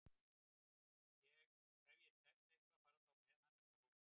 Ef ég tefst eitthvað farðu þá með hann upp á hótel!